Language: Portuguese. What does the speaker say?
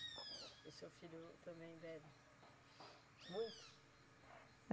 E seu filho também bebe muito?